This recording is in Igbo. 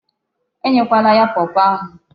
E nyekwala ya pawpaw ahụ.